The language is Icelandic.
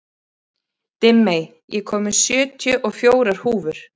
Dimmey, ég kom með sjötíu og fjórar húfur!